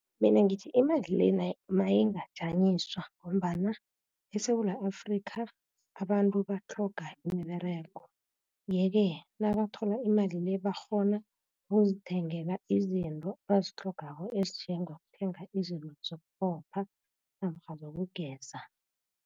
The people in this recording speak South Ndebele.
Mina ngithi imali le mayingajanyiswa, ngombana eSewula Afrika abantu batlhoga imiberego. Yeke nabathola imali le, bakghona ukuzithengela izinto abazitlhogako, ezinjengokuthenga izinto zokuqopha, namkha zokugeza.